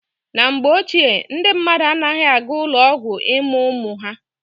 Na mgbe ochie, ndị mmadụ anaghị aga ụlọ ọgwụ ịmụ ụmụ ha.